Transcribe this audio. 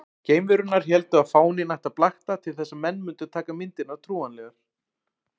Geimverurnar héldu að fáninn ætti að blakta til þess að menn mundu taka myndirnar trúanlegar.